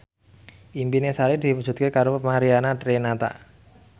impine Sari diwujudke karo Mariana Renata